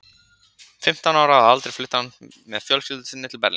Fimmtán ára að aldri flutti hann með fjölskyldu sinni til Berlínar.